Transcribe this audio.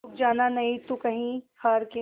रुक जाना नहीं तू कहीं हार के